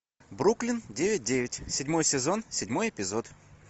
бруклин девять девять седьмой сезон седьмой эпизод